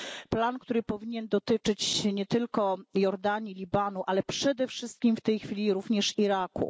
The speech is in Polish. Plan, który powinien dotyczyć nie tylko Jordanii, Libanu, ale przede wszystkim w tej chwili również Iraku.